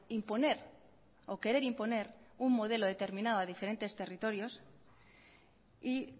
imponer o querer imponer un modelo determinado a diferentes territorios y